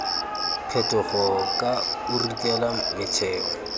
phetogo ka o ritela metheo